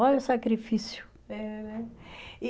Olha o sacrifício. É, né, e